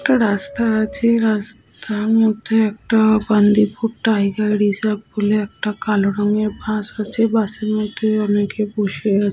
একটা রাস্তা আছে রাস্তার মধ্যে একটা বান্দিপুর টাইগার রিজার্ভ বলে একটা কালো রঙের বাস আছে বাস -এর মধ্যে অনেকে বসে আ--